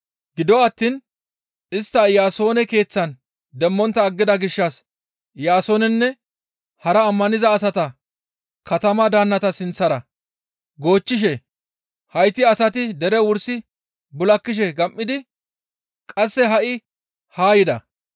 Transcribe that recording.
Gido attiin istta Iyaasoone keeththan demmontta aggida gishshas Iyaasoonenne hara ammaniza asata katama daannata sinththara goochchishe, «Hayti asati dere wursi bul7akishe gam7idi qasse ha7i haa yida.